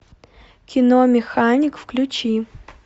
кино механик включи